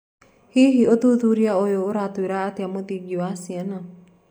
Hihi, ũthuthuria ũyũ ũratwira atĩa mũthingi wa ciana?